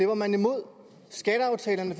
var man imod skatteaftalerne